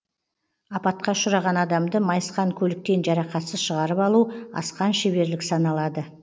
апатқа ұшыраған адамды майысқан көліктен жарақатсыз шығарып алу асқан шеберлік саналады